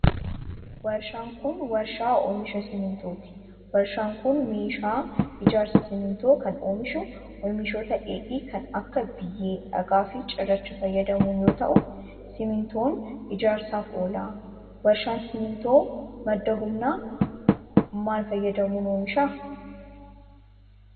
Warshaan kun, warshaa oomisha simiintooti. Warshaan kun meeshaa ijaarsaa simiintoo kan oomishu oomishoota dheedhii kan akka biyyee, dhagaa fi cirrachaa fayyadamuun yoo ta'u, simiintoon ijaarsaaf oola. Warshaan simiintoo ,madda humnaa maal fayyadamuun oomisha?